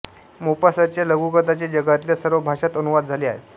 मोपासाँच्या लघुकथांचे जगातल्या सर्व भाषांत अनुवाद झाले आहेत